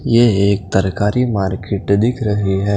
ये एक तरकारी मार्किट दिख रही है।